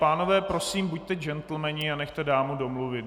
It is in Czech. Pánové, prosím, buďte džentlmeni a nechte dámu domluvit.